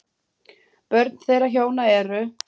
Börn þeirra hjóna eru